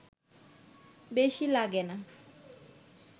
বেশি লাগে না